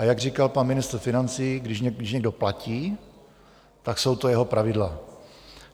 A jak říkal pan ministr financí, když někdo platí, tak jsou to jeho pravidla.